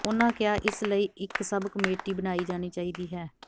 ਉਨ੍ਹਾਂ ਕਿਹਾ ਇਸ ਲਈ ਇਕ ਸਬ ਕਮੇਟੀ ਬਣਾਈ ਜਾਣੀ ਚਾਹੀਦੀ ਹੈ